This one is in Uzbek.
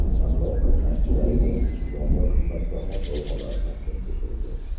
Tanlov qatnashchilariga diplom va qimmatbaho sovg‘alar taqdim etildi.